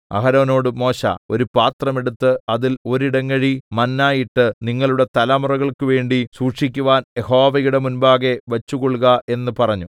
അഹരോനോട് മോശെ ഒരു പാത്രം എടുത്ത് അതിൽ ഒരു ഇടങ്ങഴി മന്നാ ഇട്ട് നിങ്ങളുടെ തലമുറകൾക്കുവേണ്ടി സൂക്ഷിക്കുവാൻ യഹോവയുടെ മുമ്പാകെ വച്ചുകൊള്ളുക എന്ന് പറഞ്ഞു